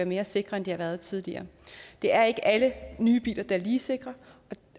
mere sikre end de har været tidligere det er ikke alle nye biler der er lige sikre